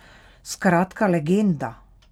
Skratka legenda.